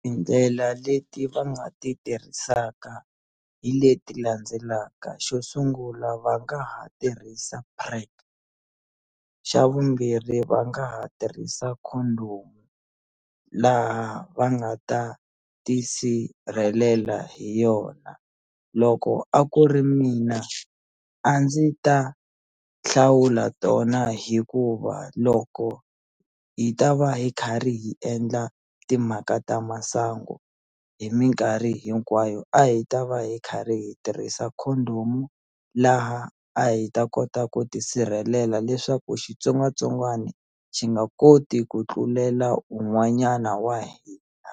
Tindlela leti va nga ti tirhisaka hi leti landzelaka xo sungula va nga ha tirhisa PrEP xa vumbirhi va nga ha tirhisa condom laha va nga ta tisirhelela hi yona loko a ku ri mina a ndzi ta hlawula tona hikuva loko hi ta va hi karhi hi endla timhaka ta masangu hi minkarhi hinkwayo a hi ta va hi karhi hi tirhisa condom laha a hi ta kota ku tisirhelela leswaku xitsongwatsongwana xi nga koti ku tlulela un'wanyana wa hina